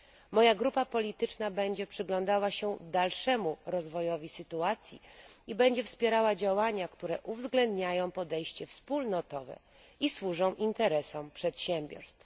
Moja grupa polityczna będzie przyglądała się dalszemu rozwojowi sytuacji i będzie wspierała działania, które uwzględniają podejście wspólnotowe i służą interesom przedsiębiorstw.